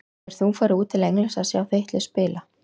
Hefur þú farið út til Englands að sjá þitt lið spila?